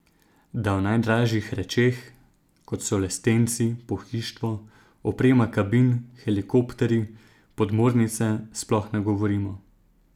Da o najdražjih rečeh, kot so lestenci, pohištvo, oprema kabin, helikopterji, podmornice, sploh ne govorimo.